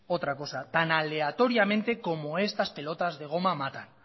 otra cosa tan aleatoriamente como estas pelotas de goma matan